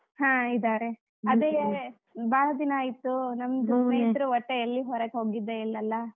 ಹಾ ಇದಾರೆ ಬಾಳ್ ದಿನಾ ಆಯ್ತು ಒಟ್ಟ ಎಲ್ಲಿ ಹೊರಗ್ ಹೋಗಿದ್ದೆಯಿಲ್ಲಲಾ?